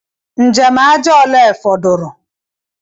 Njem aja ole fọdụrụ?